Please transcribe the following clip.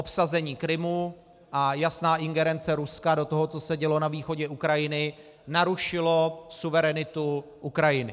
Obsazení Krymu a jasná ingerence Ruska do toho, co se dělo na východě Ukrajiny, narušilo suverenitu Ukrajiny.